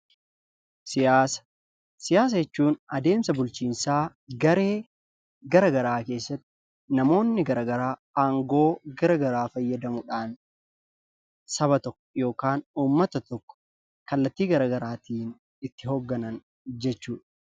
Siyaasa Siyaasa jechuun adeemsa bulchiinsaa garee garagaraa keessatti namoonni garagaraa aangoo garagaraa fayyadamuudhaan saba tokko (ummata tokko) kallattii garagaraatiin itti hoogganan jechuu dha.